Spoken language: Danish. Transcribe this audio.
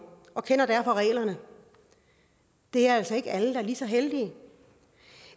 og kender derfor reglerne det er altså ikke alle der er lige så heldige